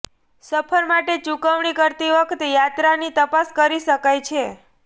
સફર માટે ચૂકવણી કરતી વખતે યાત્રાની તપાસ કરી શકાય છે